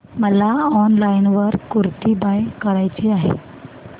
मला online kurti buy करायची आहे